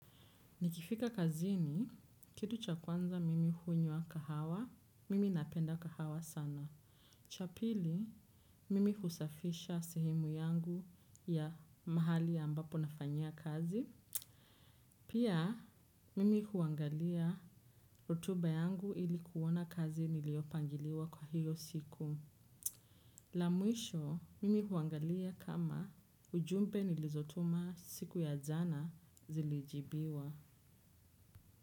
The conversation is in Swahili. Nikifika kazini, kitu cha kwanza mimi hunywa kahawa, mimi napenda kahawa sana. Cha pili, mimi husafisha sehemu yangu ya mahali ya ambapo nafanyia kazi. Pia, mimi huangalia rotuba yangu ili kuona kazi niliyopangiliwa kwa hiyo siku. La mwisho, mimi huangalia kama ujumbe nilizotuma siku ya jana zilijibiwa.